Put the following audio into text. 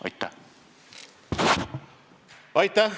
Aitäh!